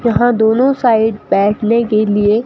यहां दोनों साइड बैठने के लिए--